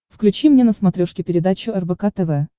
включи мне на смотрешке передачу рбк тв